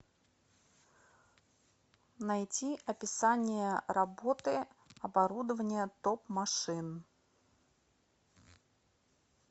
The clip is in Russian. найти описание работы оборудования топ машин